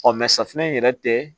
Ɔ safunɛ in yɛrɛ tɛ